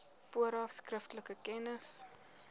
vooraf skriftelik kennis